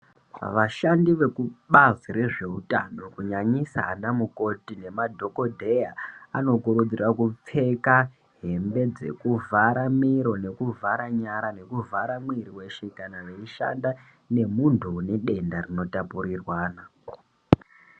Vashandi vekubazi rezvehutano kunyanyisa nanamukoti nemadhokodheya anokurudzirwa kupfeka hambe dzokuvhara miro kuvhara nyara zvinovhara muwiri weshe kana vachishanda nemunhu anedenda rino tapurirwana.